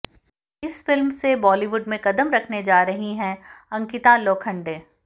इस फिल्म से बॉलीवुड में कदम रखने जा रही हैं अंकिता लोखंड़े